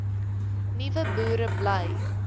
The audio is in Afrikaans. nuwe boere bly